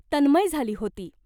तन्मय झाली होती.